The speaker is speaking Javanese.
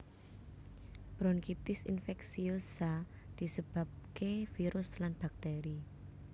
Bronkitis infeksiosa disebabke virus lan bakteri